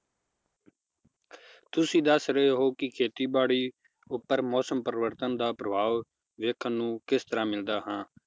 ਤੁਸੀਂ ਦੱਸ ਰਹੇ ਹੋ ਕੀ ਖੇਤੀ ਬਾੜੀ ਉਪਰ ਮੌਸਮ ਪਰਿਵਰਤਨ ਦਾ ਪ੍ਰਭਾਵ ਵੇਖਣ ਨੂੰ ਕਿਸ ਤਰਾਹ ਮਿਲਦਾ ਹਾ